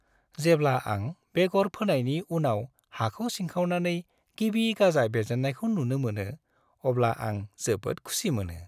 जेब्ला आं बेगर फोनायनि उनाव हाखौ सिंखावनानै गिबि गाजा बेरजेन्नायखौ नुनो मोनो अब्ला आं जोबोद खुसि मोनो।